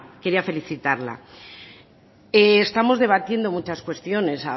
quería felicitarla estamos debatiendo muchas cuestiones